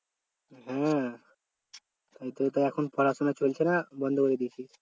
হ্যাঁ তারপর এখন পড়াশুনা চলছে না বন্ধ করে দিয়েছিস?